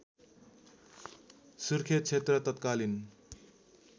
सुर्खेत क्षेत्र तत्कालीन